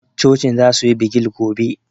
Cocin za su yi bigil gobe